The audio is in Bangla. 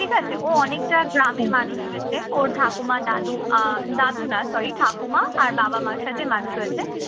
ঠিক আছে, ও অনেকটা গ্রামে মানুষ হয়েছে। ওর ঠাকুমা দাদু আহ দাদু না sorry ঠাকুরমা আর বাবা মার সাথে মানুষ হয়েছে